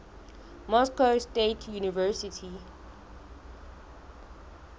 moscow state university